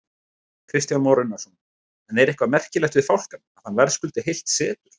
Kristján Már Unnarsson: En er eitthvað merkilegt við fálkann, að hann verðskuldi heilt setur?